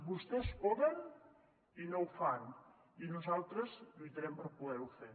vostès poden i no ho fan i nosaltres lluitarem per poder ho fer